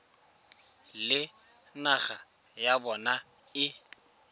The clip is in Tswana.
le naga ya bona e